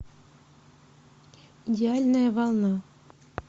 идеальная волна